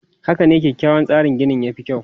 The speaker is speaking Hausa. Haka ne, kyakkyawan tsarin gini ya fi kyau.